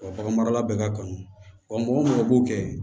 bagan marala bɛ ka kan wa mɔgɔ minnu b'o kɛ